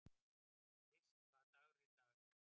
List, hvaða dagur er í dag?